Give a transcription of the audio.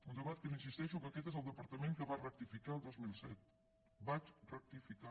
un debat que li insisteixo que aquest és el departament que va rectificar el dos mil set vaig rectificar